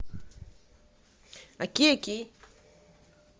окей окей